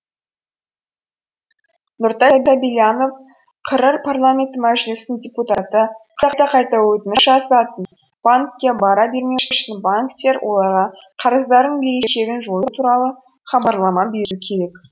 нұртай сәбильянов қр парламенті мәжілісінің депутаты қайта қайта өтініш жасатып банкке бара бермеу үшін банктер оларға қарыздарының берешегін жою туралы хабарлама беру керек